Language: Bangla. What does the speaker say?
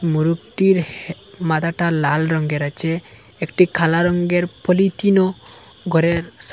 মোরগটির মাথাটা লাল রঙের আছে একটি কালা রঙের পলিথিনও ঘরের সা--